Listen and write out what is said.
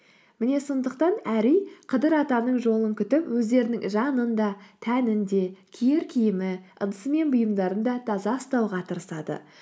міне сондықтан әр үй қыдыр атаның жолын күтіп өздерінің жанын да тәнін де киер киімі ыдысы мен бұйымдарын да таза ұстауға тырысады